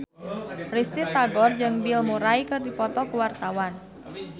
Risty Tagor jeung Bill Murray keur dipoto ku wartawan